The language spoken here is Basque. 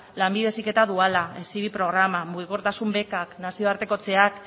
lanbide heziketa duala hezibi programa mugikortasun bekak nazioartekotzeak